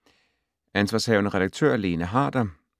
Ansv. redaktør: Lene Harder